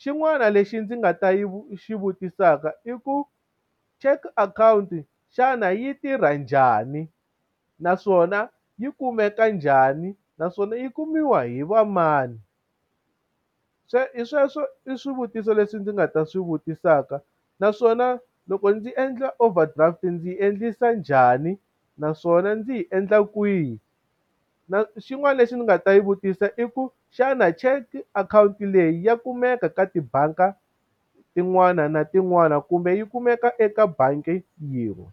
xin'wana lexi ndzi nga ta yi xi vutisaka i ku cheque akhawunti xana yi tirha njhani u naswona yi kumeka njhani naswona yi kumiwa hi va mani sweswo hi sweswo i swivutiso leswi ndzi nga ta swi vutisaka naswona loko ndzi endla overdraft ndzi yi endlisa njhani naswona ndzi yi endla kwihi na xin'wana lexi ni nga ta yi vutisa i ku xana cheque akhawunti leyi ya kumeka ka tibangi tin'wani na tin'wani kumbe yi kumeka eka bangi yin'we.